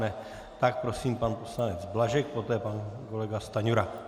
Ne. tak prosím, pan poslanec Blažek, poté pan kolega Stanjura.